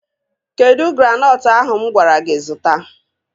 Kedụ granọtụ ahụ mụ gwara gị zụta?